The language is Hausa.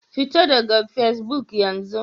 Fita daga Fesbuk yanzu!